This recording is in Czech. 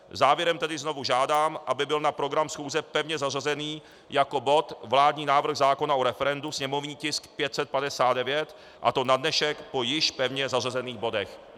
Závěrem tedy znovu žádám, aby byl na program schůze pevně zařazen jako bod vládní návrh zákona o referendu, sněmovní tisk 559, a to na dnešek po již pevně zařazených bodech.